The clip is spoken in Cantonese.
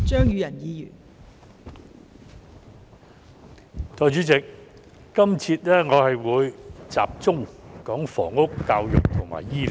代理主席，我在今節將會集中討論房屋、教育和醫療。